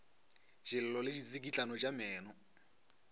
dillo le ditsikitlano tša meno